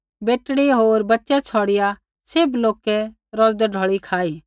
बेटड़ी होर बच्चै छ़ौडिया तौखै च़ार हज़ार मर्दै रोटी खाई